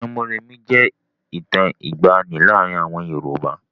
Ìtàn Mórèmí jẹ́ ìtàn ìgbàanì láàárin àwọn Yorùbá.